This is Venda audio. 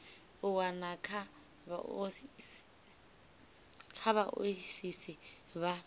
u wana kha vhaoisisi vha